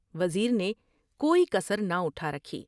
وزیر نے کوئی کسر نہ اٹھا رکھی ۔